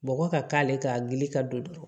Bɔgɔ ka k'ale kan a gili ka don dɔrɔn